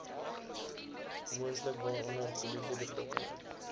moontlik waaronder polisiebetrokkenheid